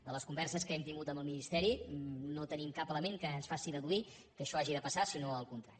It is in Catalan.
de les converses que hem tingut amb el ministeri no tenim cap element que ens faci deduir que això hagi de passar sinó el contrari